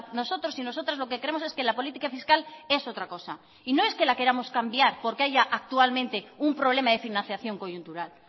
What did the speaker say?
nosotros y nosotras lo que creemos es que la política fiscal es otra cosa y no es que la queramos cambiar porque haya actualmente un problema de financiación coyuntural